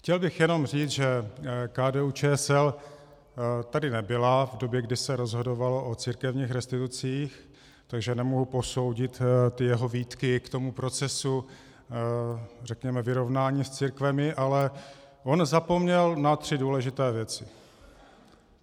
Chtěl bych jenom říct, že KDU-ČSL tady nebyla v době, kdy se rozhodovalo o církevních restitucích, takže nemohu posoudit ty jeho výtky k tomu procesu, řekněme, vyrovnání s církvemi, ale on zapomněl na tři důležité věci.